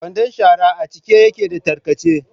Kwandon shara a cike yake da tarkace.